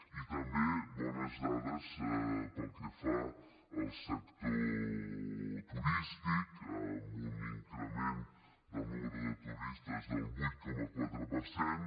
i també bones dades pel que fa al sector turístic amb un increment del nombre de turistes del vuit coma quatre per cent